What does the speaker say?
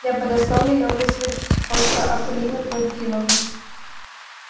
я подослал её вызвать тихонько акулину памфиловну